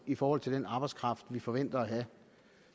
i forhold til den arbejdskraft vi forventer at have